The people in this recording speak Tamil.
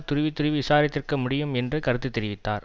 துருவித்துருவி விசாரித்திருக்க முடியும் என்று கருத்து தெரிவித்தார்